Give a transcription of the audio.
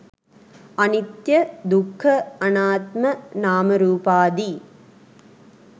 අනිත්‍ය, දුක්ඛ, අනාත්ම, නාමරූපාදී